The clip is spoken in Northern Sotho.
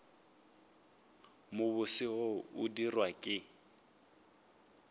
mobose wo o dirwago ke